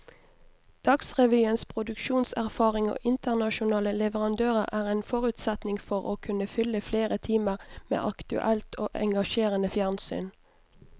Dagsrevyens produksjonserfaring og internasjonale leverandører er en forutsetning for å kunne fylle flere timer med aktuelt og engasjerende fjernsyn.